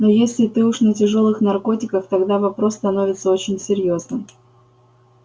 но если ты уж на тяжёлых наркотиках тогда вопрос становится очень серьёзным